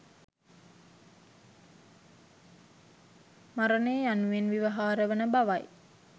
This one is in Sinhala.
මරණය යනුවෙන් ව්‍යවහාර වන බවයි.